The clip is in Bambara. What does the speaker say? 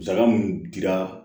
Musaka mun dira